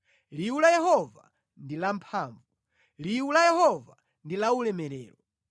Liwu la Yehova ndi lamphamvu; liwu la Yehova ndi laulemerero.